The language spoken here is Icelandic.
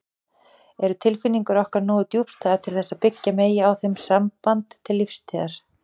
Eru tilfinningar okkar nógu djúpstæðar til þess að byggja megi á þeim samband til lífstíðar?